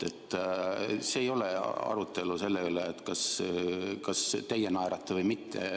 See ei ole arutelu selle üle, kas teie naerate või mitte.